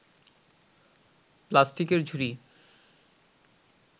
প্লাস্টিকের ঝুড়ি